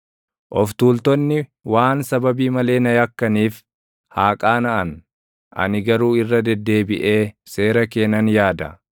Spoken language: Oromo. Of tuultonni waan sababii malee na yakkaniif haa qaanaʼan; ani garuu irra deddeebiʼee seera kee nan yaada.